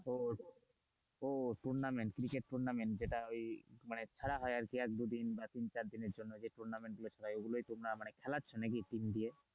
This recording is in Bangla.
ও tournament ক্রিকেট tournament যেটা ওই মানে খেলা হয় আর কি এক দু দিন বা তিন চার দিনের জন্য যে tournament গুলো খেলা হয় মানে খেলাচ্ছে নাকি team দিয়ে,